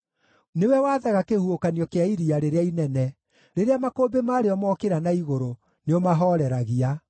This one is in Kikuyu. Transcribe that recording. Nĩwe wathaga kĩhuhũkanio kĩa iria rĩrĩa inene; rĩrĩa makũmbĩ marĩo mookĩra na igũrũ, nĩũmahooreragia.